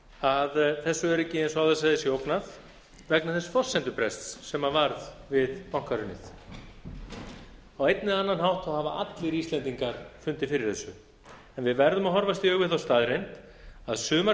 að þessu er öryggi eins og ég áður sagði sé ógnað vegna þess forsendubrests sem varð við bankahrunið eina eða annan hátt hafa allir íslendingar fundið fyrir þessu en við verðum að horfast í augu við þá staðreynd að sumar